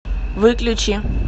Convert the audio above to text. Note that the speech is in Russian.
выключи